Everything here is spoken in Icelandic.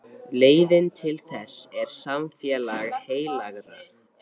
Leiðin til þess er samfélag heilagra.